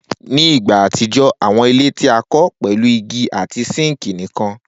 Ni igba atijọ, awọn ile ti a kọ pẹlu igi ati sinki nikan.